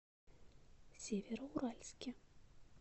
североуральске